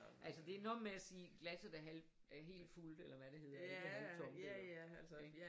Altså det er noget med at sige glasset er halvt er helt fuldt eller hvad det hedder halvttomt eller ik